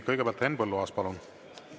Kõigepealt Henn Põlluaas, palun!